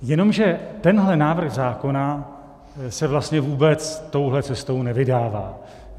Jenomže tento návrh zákona se vlastně vůbec touto cestou nevydává.